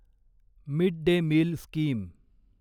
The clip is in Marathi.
mid day meal scheme